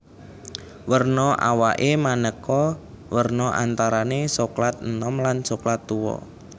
Werna awaké manéka werna antarané soklat enom lan soklat tuwa